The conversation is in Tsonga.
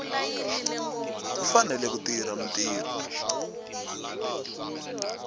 u fanele ku tirha mintirho